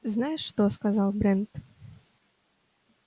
знаешь что сказал брент